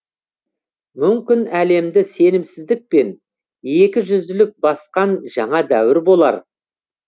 мүмкін әлемді сенімсіздікпен екі жүзділік басқан жаңа дәуір болар